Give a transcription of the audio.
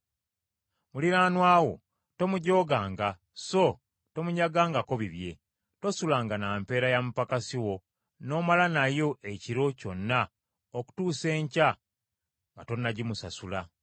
“Muliraanwa wo tomujooganga so tomunyagangako bibye. “Tosulanga na mpeera ya mupakasi wo n’omala nayo ekiro kyonna okutuusa enkya nga tonnagimusasula.